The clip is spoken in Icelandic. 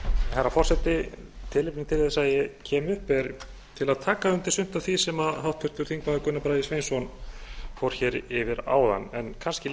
herra forseti tilefnið til þess að ég kem upp er til að taka undir sumt af því sem háttvirtur þingmaður gunnar bragi sveinsson fór hér yfir áðan en kannski